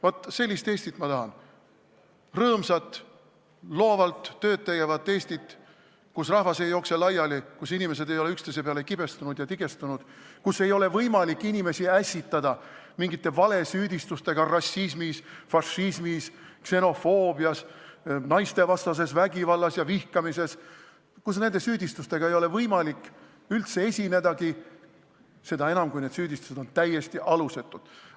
Vaat sellist Eestit ma tahan, rõõmsat, loovalt tööd tegevat Eestit, kust rahvas ei jookse laiali, kus inimesed ei ole üksteise peale kibestunud ja tigestunud, kus ei ole võimalik inimesi ässitada mingite valesüüdistustega rassismis, fašismis, ksenofoobias, naistevastases vägivallas ja vihkamises, kus nende süüdistustega ei ole võimalik üldse esinedagi, seda enam, kui need süüdistused on täiesti alusetud.